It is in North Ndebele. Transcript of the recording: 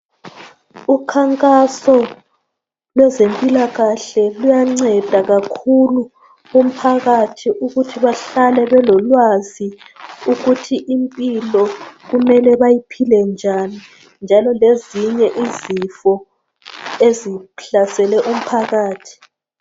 Ukhankaso lwezempilakahle luyanceda kakhulu umphakathi, ukuthi bahlale belolwazi ukuthi impilo kumele bayiphile njani, njalo lezinye izifo ezihlasele umphakathi,